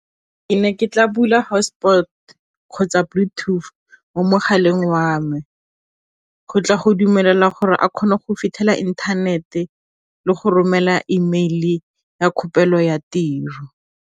Ke ne ke tla bula hotspot kgotsa bluetooth mo mogaleng wa me, go tla go dumelela gore a kgone go fitlhela inthanete le go romela email-e ya ya tiro.